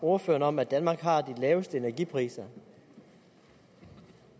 ordføreren om at danmark har de laveste energipriser